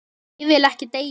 Ég vil ekki deyja.